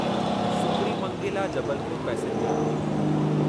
सुकरीमंगेला Jabalpur passenger